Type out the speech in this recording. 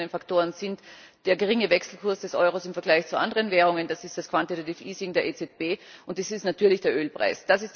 Diese externen Faktoren sind der niedrige Wechselkurs des Euro im Vergleich zu anderen Währungen, das ist das der EZB, und es ist natürlich der Ölpreis.